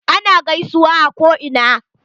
Ana gaisuwan a ko ina.